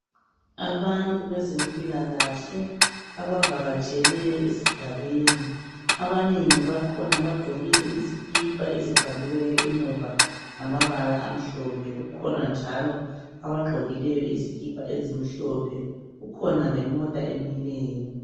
Abantu bezempilakahle abavakatshele esigabeni. Abanengi bakhona bagqokile izikipa ezibhaliweyo emuva ngamabala amhlophe. Kukhona njalo abagqokileyo izikipa ezimhlophe. Kukhona lemota emileyo.